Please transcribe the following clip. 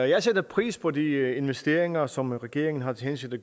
jeg sætter pris på de investeringer som regeringen har til hensigt at